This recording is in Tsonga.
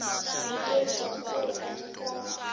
vutomi bya switori abyi kahle